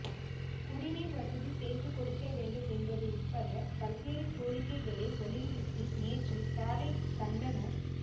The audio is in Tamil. குடிநீர் வசதி செய்து கொடுக்க வேண்டும் என்பது உட்பட பல்வேறு கோரிக்கைகளை வலியுறுத்தி நேற்று காலை கண்டன